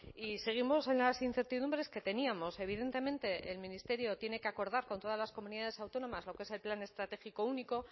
y seguimos en las incertidumbres que teníamos evidentemente el ministerio tiene que acordar con todas las comunidades autónomas lo que es el plan estratégico único